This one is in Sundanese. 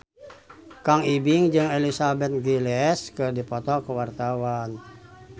Kang Ibing jeung Elizabeth Gillies keur dipoto ku wartawan